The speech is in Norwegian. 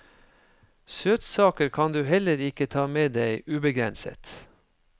Søtsaker kan du heller ikke ta med deg ubegrenset.